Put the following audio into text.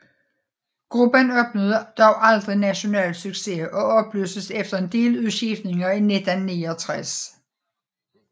Gruppen opnåede dog aldrig national succes og opløstes efter en del udskiftninger i 1969